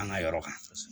An ka yɔrɔ kan